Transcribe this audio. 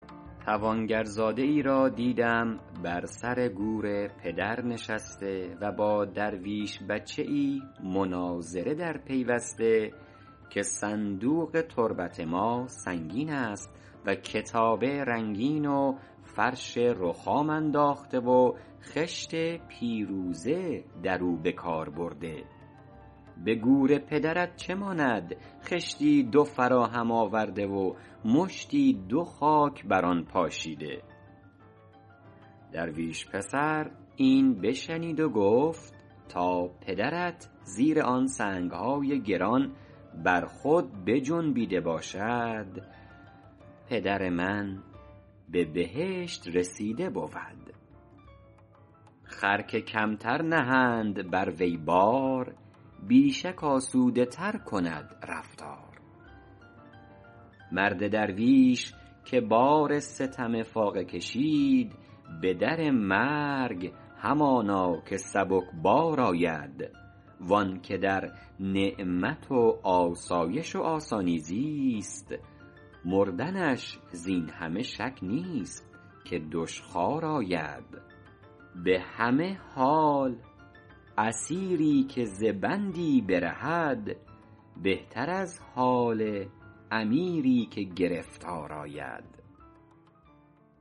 توانگرزاده ای را دیدم بر سر گور پدر نشسته و با درویش بچه ای مناظره در پیوسته که صندوق تربت ما سنگین است و کتابه رنگین و فرش رخام انداخته و خشت پیروزه در او به کار برده به گور پدرت چه ماند خشتی دو فراهم آورده و مشتی دو خاک بر آن پاشیده درویش پسر این بشنید و گفت تا پدرت زیر آن سنگ های گران بر خود بجنبیده باشد پدر من به بهشت رسیده بود خر که کمتر نهند بر وی بار بی شک آسوده تر کند رفتار مرد درویش که بار ستم فاقه کشید به در مرگ همانا که سبکبار آید وآن که در نعمت و آسایش و آسانی زیست مردنش زین همه شک نیست که دشخوار آید به همه حال اسیری که ز بندی برهد بهتر از حال امیری که گرفتار آید